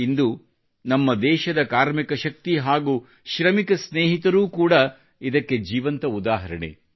ಇಂದು ನಮ್ಮ ದೇಶದ ಕಾರ್ಮಿಕ ಶಕ್ತಿ ಶ್ರಮಿಕ ಸ್ನೇಹಿತರು ಇದ್ದಾರಲ್ಲ ಅವರೂ ಕೂಡ ಇದಕ್ಕೆ ಜೀವಂತ ಉದಾಹರಣೆ